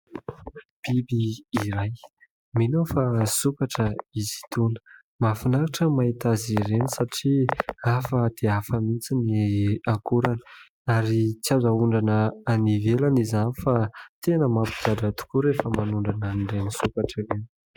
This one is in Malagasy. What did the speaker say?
Biby iray, mino aho fa sokatra izy itony. Mahafinaritra ny mahita azy ireny satria hafa dia hafa mihitsy ny akorany ary tsy azo aondrana any ivelany izany fa tena mampigadra tokoa rehefa manondrana an'ireny sokatra ireny.